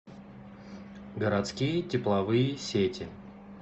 городские тепловые сети